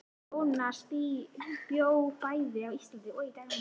Jónas bjó bæði á Íslandi og í Danmörku.